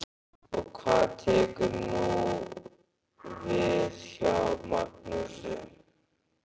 Og hvað tekur nú við hjá Magnúsi?